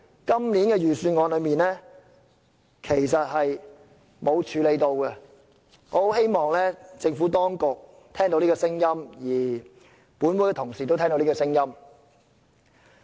今年的預算案並沒有處理這事，我希望政府當局和本會同事都聽到我的意見。